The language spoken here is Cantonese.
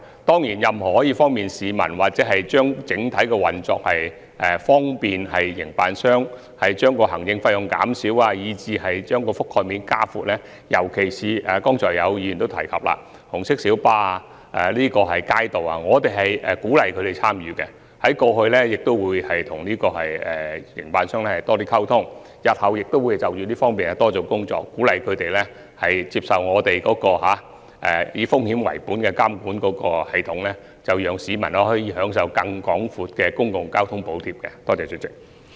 當然，對於任何可以便利市民的安排、改善整體運作以便利營辦商降低行政費用、把覆蓋面加闊，以至鼓勵尤其是議員剛才提及的紅巴及街渡參與其中等問題，我們過去已和有關營辦商溝通，日後亦會就這方面多做工作，鼓勵他們接受我們以風險為本的監管系統，讓市民可以享受更廣闊的公共交通補貼。